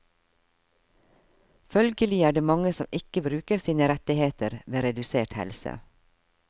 Følgelig er det mange som ikke bruker sine rettigheter ved redusert helse.